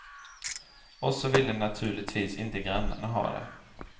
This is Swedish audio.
Och så ville naturligtvis inte grannarna ha det.